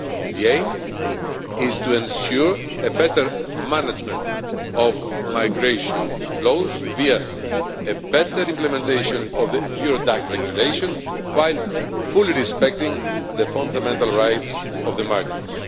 The aim is to ensure better management of migration flows, via a better implementation of the Eurodac Regulation, while fully respecting the fundamental rights of the migrants.